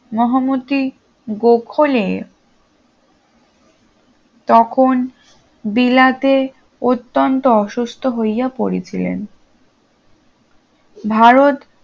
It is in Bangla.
মহমতি গোখলে তখন বিলাতে অত্যন্ত অসুস্থ হইয়া পড়েছিলেন ভারত